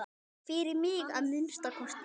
Fyrir mig, að minnsta kosti.